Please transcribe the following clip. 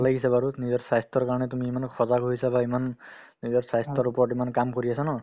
লাগিছে বাৰু নিজৰ স্বাস্থ্যৰ কাৰণে তুমি ইমানো সজাগ হৈছা বা ইমান নিজৰ স্বাস্থ্যৰ ওপৰত ইমান কাম কৰি আছা ন